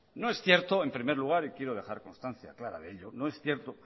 no es cierto en primer lugar y quiero dejar constancia clara de ello